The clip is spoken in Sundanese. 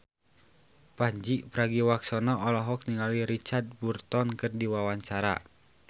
Pandji Pragiwaksono olohok ningali Richard Burton keur diwawancara